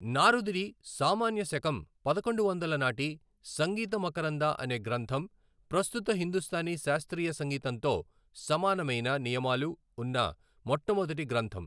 నారదుడి, సామాన్య శకం పదకొండు వందల నాటి, సంగీత మకరంద అనే గ్రంథం, ప్రస్తుత హిందూస్థానీ శాస్త్రీయ సంగీతంతో సమానమైన నియమాలు ఉన్న మొట్టమొదటి గ్రంథం.